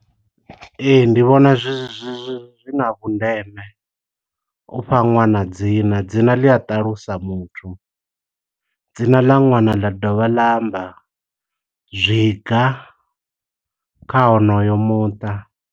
Ee, ndi vhona zwi na vhundeme, ufha nwana dzina. Dzina ḽi a ṱalusa muthu, dzina ḽa ṅwana ḽa dovha ḽa amba, zwiga kha honoyo muṱa.